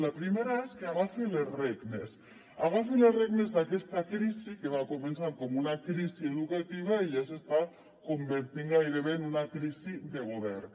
la primera és que agafi les regnes que agafi les regnes d’aquesta crisi que va començar com una crisi educativa i ja s’està convertint gairebé en una crisi de govern